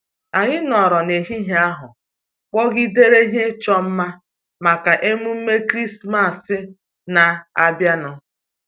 Anyị nọrọ n'ehihie ahụ kpọgidere ihe ịchọ mma maka emume Krismas na-abịanụ.